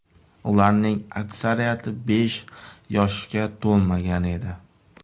Ularning aksariyati besh yoshga to‘lmagan edi.